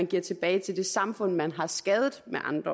giver tilbage til det samfund man har skadet